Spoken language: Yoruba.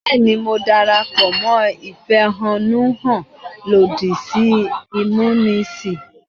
Bẹ́ẹ̀ ni, mo darapọ̀ mọ́ ìfẹ̀hánnúhàn lòdì sí ìmúnisì.